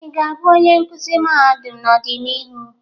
Ị ga-abụ onye nkuzi mahadum n'ọdịnihu?